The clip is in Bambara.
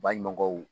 Baɲumankɛw